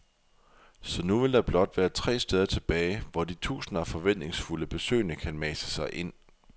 Så nu vil der blot være tre steder tilbage, hvor de tusinder af forventningsfulde besøgende kan mase sig ind.